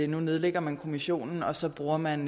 nu nedlægger man kommissionen og så bruger man